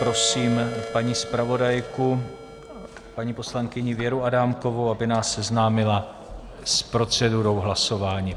Prosím paní zpravodajku, paní poslankyni Věru Adámkovou, aby nás seznámila s procedurou hlasování.